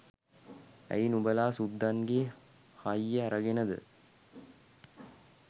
ඇයි නුබලා සුද්දන්ගේ හය්‍ය ඇරගෙනද